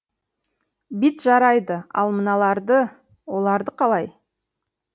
бит жарайды ал мыналарды оларды қалай